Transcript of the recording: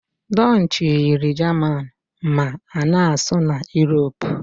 Dutchi yiri jaman ma ana-asụ na Europe.